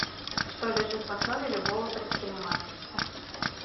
что лежит в основе любого предпринимательства